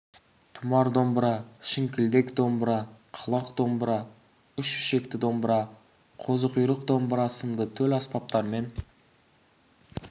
тұмар домбыра шіңкілдек домбыра қалақ домбыра үш ішекті домбыра қозы құйрық домбыра сынды төл аспаптармен